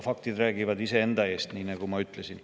Faktid räägivad iseenda eest, nii nagu ma ütlesin.